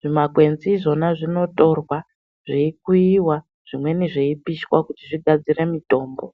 Zvimakwenzi zvona zvinotorwa zviyikuiywa, zvimweni zviyipiswa kuti zvigadzire mitombo.